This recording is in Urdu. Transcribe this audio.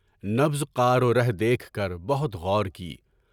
نبضِ قارورہ دیکھ کر بہت غور کیا۔